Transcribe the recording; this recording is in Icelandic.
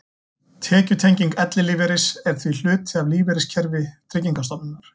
Tekjutenging ellilífeyris er því hluti af lífeyriskerfi Tryggingarstofnunar.